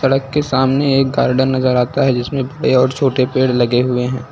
सड़क के सामने एक गार्डन नजर आता है जिसमें बड़े और छोटे पेड़ लगे हुए हैं।